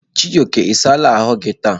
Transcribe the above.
Chijoke, i saala ahu gi taa?